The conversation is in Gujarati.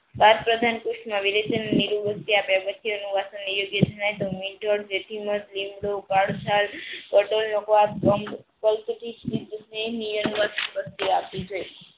બાપ પ્રધાન પુસ્થ ના બધુ આપે છે.